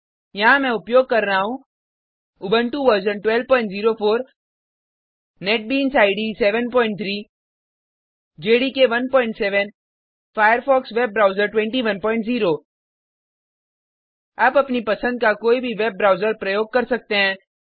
यहाँ मैं उपयोग कर रहा हूँ Ubuntu version 1204 NetBeans IDE 73 JDK 17 Firefox web browser 210 आप अपनी पसंद का कोई भी वेब ब्राउज़र प्रयोग कर सकते हैं